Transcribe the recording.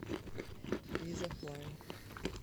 изофлай